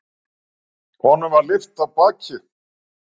Honum var lyft af baki.